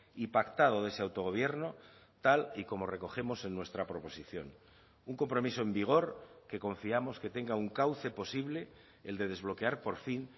y pactado de ese autogobierno tal y como recogemos en nuestra proposición un compromiso en vigor que confiamos que tenga un cauce posible el de desbloquear por fin